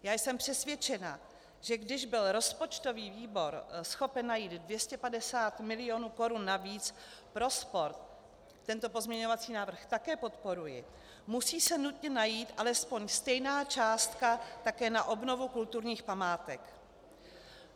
Já jsem přesvědčena, že když byl rozpočtový výbor schopen najít 250 milionů korun navíc pro sport, tento pozměňovací návrh také podporuji, musí se nutně najít alespoň stejná částka také na obnovu kulturních památek.